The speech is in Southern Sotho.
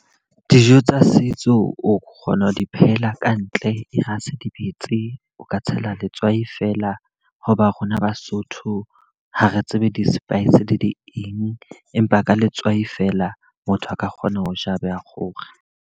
Dijo tsa setso o kgona ho di phehela ka ntle. E re ha se di betse o ka tshela letswai fela. Ho ba rona Basotho ha re tsebe di-spice di eng. Empa ka letswai fela motho a ka kgona ho ja wa kgora.